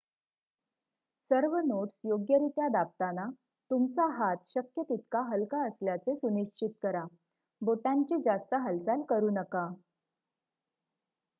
सर्व नोट्स योग्यरित्या दाबताना तुमचा हात शक्य तितका हलका असल्याचे सुनिश्चित करा बोटांची जास्त हालचाल करू नका